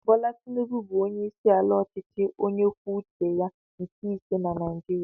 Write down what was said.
Bola Tinubu bụ onyeisiala ọchịchị onye kwuo uche ya nke ise na Naijiria.